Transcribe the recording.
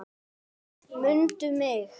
MUNDU MIG!